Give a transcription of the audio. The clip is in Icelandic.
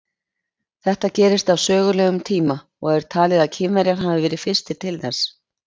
Þetta gerist á sögulegum tíma og er talið að Kínverjar hafi verið fyrstir til þess.